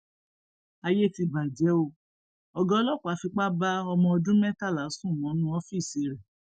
ayé ti bàjẹ o ọgá ọlọpàá fipá bá ọmọọdún mẹtàlá sùn mọnú ọfíìsì rẹ